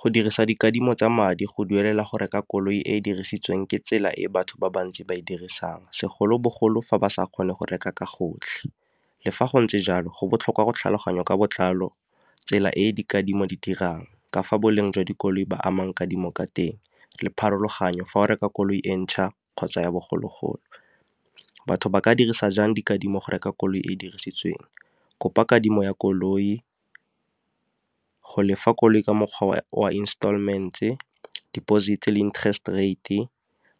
Go dirisa dikadimo tsa madi go duelela go reka koloi e e dirisitsweng ke tsela e batho ba bantsi ba e dirisang segolobogolo fa ba sa kgone go reka ka gotlhe. Le fa go ntse jalo go botlhokwa go tlhaloganyo ka botlalo tsela e dikadimo di dirang, ka fa boleng jwa dikoloi ba amangwe kadimo ka teng, le pharologanyo fa o reka koloi e ntšha kgotsa ya bogologolo. Batho ba ka dirisa jang dikadimo go reka koloi e dirisitsweng? Kopa kadimo ya koloi, go lefa koloi ka mokgwa wa installment-e, deposit le interest rate,